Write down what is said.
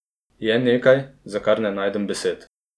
Je nekaj, za kar ne najdem besed.